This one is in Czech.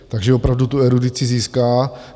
Takže opravdu tu erudici získá.